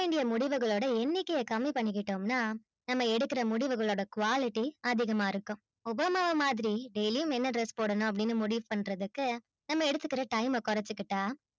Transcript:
முடிவுகளை கம்மி பண்ணிகிட்டோம்னா நாம்ம எடுக்குற முடிவுகள்ள quality அதிகமா இருக்கும் obama மாதிரி daily என்ன dress போடணும்னு முடிவு பண்றதுக்கு நாம்ம எடுத்துக்குற time ஆ கொரசிக்கிட்டா